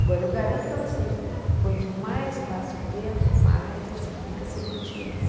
Agora, eu garanto para vocês, quanto mais passa o tempo, mais a gente fica seletivo.